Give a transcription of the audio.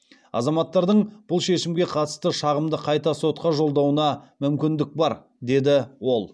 азаматтардың бұл шешімге қатысты шағымды қайта сотқа жолдауына мүмкіндік бар деді ол